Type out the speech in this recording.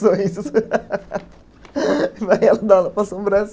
Vai ela dar aula para a assombra